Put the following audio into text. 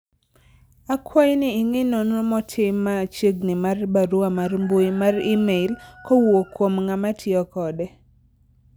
akwayi ni ingi nonro motim machiegni mar barua mar mbui mar email kowuok kuom ng'ama tiyo kode ni